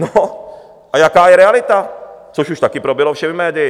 No a jaká je realita, což už taky proběhlo všemi médii?